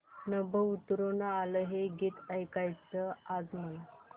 नभं उतरू आलं हे गीत ऐकायचंय आज मला